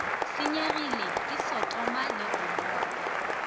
senyegile ke sotoma le gomora